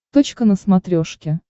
точка на смотрешке